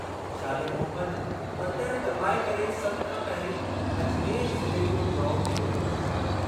शाले Mohammad button दॿाए करे सभु खां पहिरीं अजमेर ज़िले जो ड्रा खोलियो।